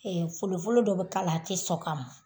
Ɛɛ folofolo dɔ be k'ala a te sɔ ka mɔ